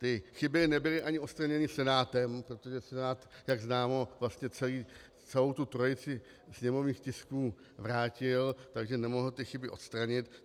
Ty chyby nebyly ani odstraněny Senátem, protože Senát, jak známo, vlastně celou tu trojici sněmovních tisků vrátil, takže nemohl ty chyby odstranit.